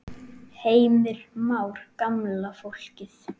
Heimir Már: Gamla fólkið?